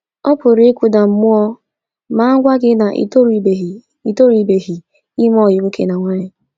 Ọ PỤRỤ ịkụda gị mmụọ ma a gwa gị na ị torubeghị torubeghị ime ọyị nwoke na nwaanyị.